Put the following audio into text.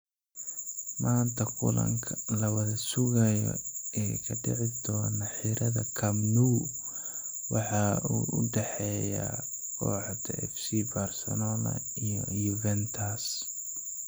Maanta kulanka la wada sugayo ee ka dhici doona Xirada Nou waxa uu u dhexeeyaa kooxaha FC Barcelona iyo Juventus.